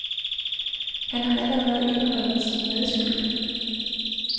Han har allerde indrømmet sin medskyld.